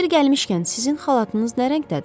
Yeri gəlmişkən, sizin xalatınız nə rəngdədir?